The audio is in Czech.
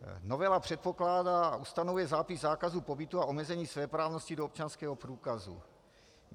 Novela předpokládá a ustanovuje zápis zákazu pobytu a omezení svéprávnosti do občanského průkazu.